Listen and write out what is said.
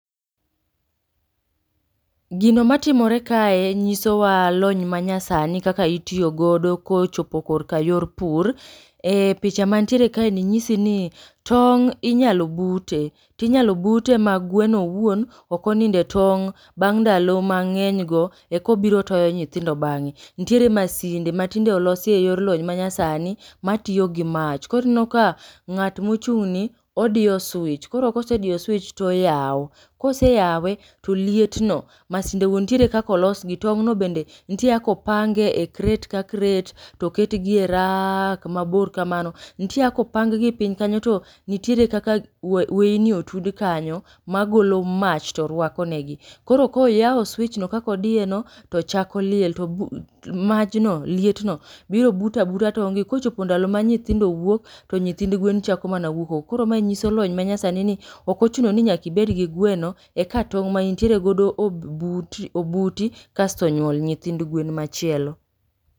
Gino matimore kae nyisowa lony ma nyasani kaka itiyo godo kochopo korka yor pur. E picha mantiere kae ni nyisi ni tong' inyalo bute. To inyalo bute ma gweno owuon, ok onindo e tong' bang' ndalo mang'eny go eko biro toyo nyithindo bang'e. Nitiere masinde ma tinde olosi e yor lony ma nyasani ma tiyo gi mach, koro ineno ka ng'at ma ochung' ni odiyo pcs] switch, kosediyo switch to oyao, koseyawe to liet no masinde go ntiere kaka olos gi tong' no bende nitiere kaka opange e crate ka crate to oket gi e raak mabor kamano. Ntie kaka opang gi piny kanyo to ntiere kaka wa weini otud kanyo ma golo mach to rwako ne gi. Koro koyao switch no kaka odiye no to chako liel to ru to majno, lietno biro buto abuta tong' gi kochopo ndalo ma nyithindo wuok to nyithind gwen chako mana wuok oko. Koro mae nyiso lony ma nyasani ni ok ochuno ni nyaka ibed gi gweno eka tong' ma intiere godo obut obuti, kasto nyuol nyithind gwen machielo.